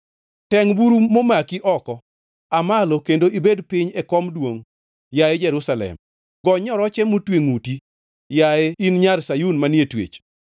Tengʼ buru momaki oko; aa malo kendo ibed piny e kom duongʼ, yaye Jerusalem. Gony nyoroche motwe ngʼuti, yaye in Nyar Sayun manie twech.